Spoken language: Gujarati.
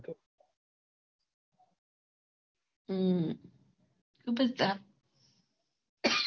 હમ